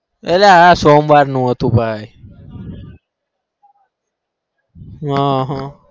અલ્યા અ સોમવાર નું હતું ભાઈ હ હ